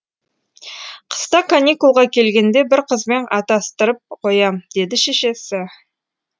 қыста каникулға келгенде бір қызбен атастырып қоям деді шешесі